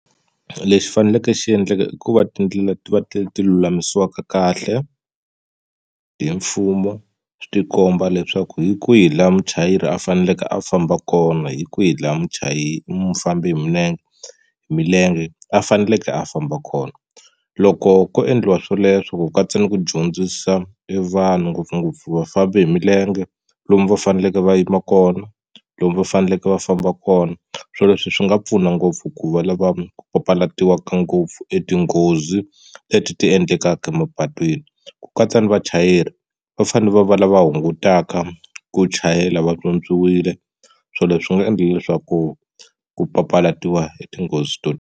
Lexi faneleke xi endleka i ku va tindlela ti va ti ti lulamisiwaka kahle hi mfumo swi ti komba leswaku hi kwihi laha muchayeri a faneleke a famba kona hi kwihi laha mufambi hi milenge milenge a faneleke a famba kona loko ko endliwa swoleswo ku katsa ni ku dyondzisa e vanhu ngopfungopfu vafambi hi milenge lomu va faneleke va yima kona lomu va faneleke va famba kona swilo leswi swi nga pfuna ngopfu ku va lava papalatiwaka ngopfu etinghozi leti ti endlekaka emapatwini ku katsa ni vachayeri va fanele va va lava hungutaka ku chayela vatswotswiwile swilo leswi nga endlile leswaku ku papalatiwa hi tinghozi to.